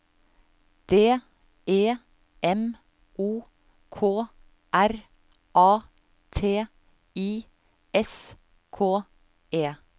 D E M O K R A T I S K E